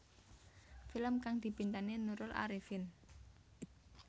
Film kang dibintangi Nurul Arifin